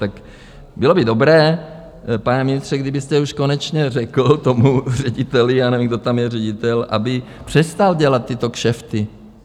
Tak bylo by dobré, pane ministře, kdybyste už konečně řekl tomu řediteli, já nevím, kdo tam je ředitel, aby přestal dělat tyto kšefty.